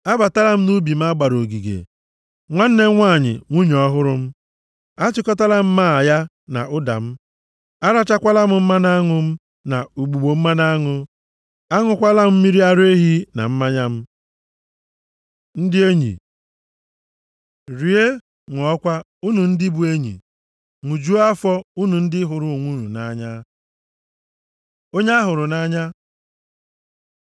Abatala m nʼubi m a gbara ogige, nwanne m nwanyị, nwunye ọhụrụ m. Achịkọtala m máá ya na ụda m, arachakwala m mmanụ aṅụ m na ugbugbo mmanụ aṅụ. Aṅụkwala m mmiri ara ehi na mmanya m. Ndị Enyi Rie, ṅụọkwa, unu ndị bụ enyi; ṅụjuo afọ, unu ndị hụrụ onwe unu nʼanya. Onye a hụrụ nʼanya